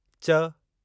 च